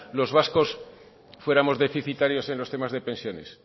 los vascos fuéramos deficitarios en los temas de pensiones